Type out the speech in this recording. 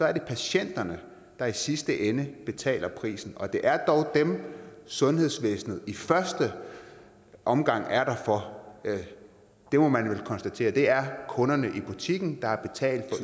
er det patienterne der i sidste ende betaler prisen og det er dog dem sundhedsvæsenet i første omgang er der for det må man vel konstatere det er kunderne i butikken der har betalt for